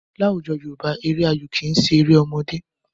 Láwùjọ Yorùbá, eré ayò kì í ṣe eré ọmọdé.